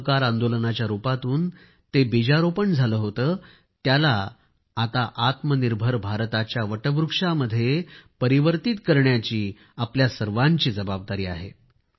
असहकार आंदोलनाच्या रूपातून ते बीजारोपण झाले होते त्याला आता आत्मनिर्भर भारताच्या वटवृक्षामध्ये परिवर्तित करण्याची आपल्या सर्वांची जबाबदारी आहे